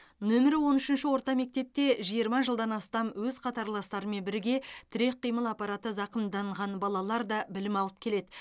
нөмірі он үшінші орта мектепте жиырма жылдан астам өз қатарластарымен бірге тірек қимыл аппараты зақымданған балалар да білім алып келеді